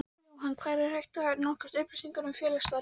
Jóhann: Hvar er hægt að nálgast upplýsingar um félagsstarfið?